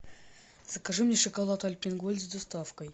закажи мне шоколад альпен гольд с доставкой